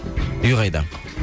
үй қайда